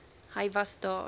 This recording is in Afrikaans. hy was daar